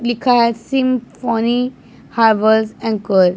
लिखा है सिम्फ़नी हाय वास् एंकर ।